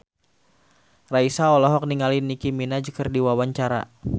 Raisa olohok ningali Nicky Minaj keur diwawancara